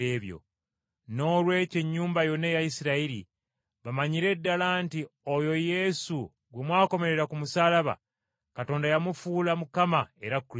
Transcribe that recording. “Noolwekyo ennyumba yonna eya Isirayiri, bamanyire ddala nti oyo Yesu gwe mwakomerera ku musaalaba, Katonda yamufuula Mukama era Kristo!”